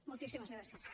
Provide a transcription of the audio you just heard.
moltíssimes gràcies